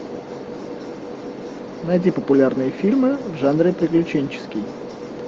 найди популярные фильмы в жанре приключенческий